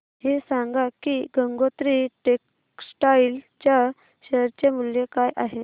हे सांगा की गंगोत्री टेक्स्टाइल च्या शेअर चे मूल्य काय आहे